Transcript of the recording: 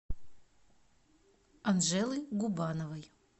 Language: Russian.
анжелы губановой